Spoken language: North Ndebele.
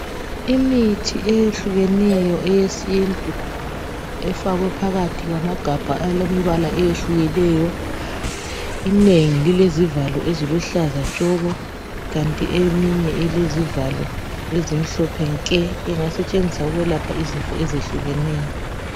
imithi eyehlukeneyo eyesintu efakwe phakathi kwamagabha alemibala eyehlukeneyo inengi lilezivalo eziluhlaza tshoko kanti eminye ilezivalo ezimhlophe nke ingasetshenziswa ukwelapha izifo ezehlukeneyo